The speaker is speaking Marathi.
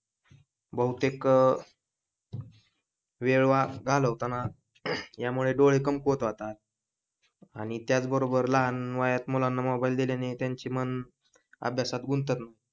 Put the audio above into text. बहुतेक वेळ घालवताना यामुळे डोळे कमकुवत होतात आणि त्याच बरोबर लहान वयात मुलांना मोबाईल दिल्याने त्यांचे मन अभ्यासात गुंतत